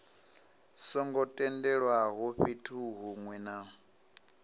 songo tendelwaho fhethu hunwe na